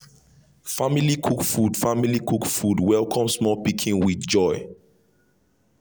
family cook food family cook food welcome small pikin with joy